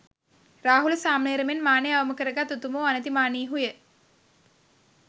රාහුල සාමණේර මෙන් මානය අවම කරගත් උතුමෝ අනතිමානීහු ය.